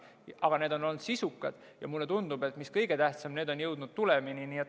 Aga need on olnud sisukad ja, mis kõige tähtsam, need on jõudnud tulemini.